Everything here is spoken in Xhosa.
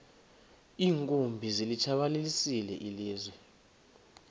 iinkumbi zilitshabalalisile ilizwe